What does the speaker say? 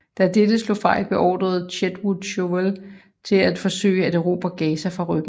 Da dette slog fejl beordrede Chetwode Chauvel til at forsøge at erobre Gaza fra ryggen